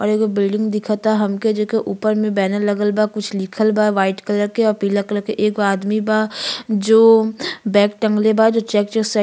और एगो बिल्डिंग दिखता हमके जेके ऊपर में बैनर लगल बा कुछ लिखल बा वाइट कलर के औ पीला कलर के। एगो आदमी बा जो बैग म् टँगले बा जो चेक -चेक शै --